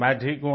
मैं ठीक हूँ